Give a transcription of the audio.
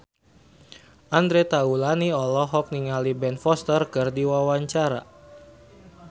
Andre Taulany olohok ningali Ben Foster keur diwawancara